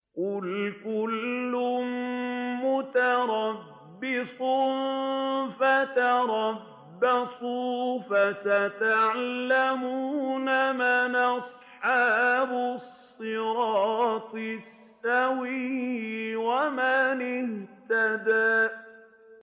قُلْ كُلٌّ مُّتَرَبِّصٌ فَتَرَبَّصُوا ۖ فَسَتَعْلَمُونَ مَنْ أَصْحَابُ الصِّرَاطِ السَّوِيِّ وَمَنِ اهْتَدَىٰ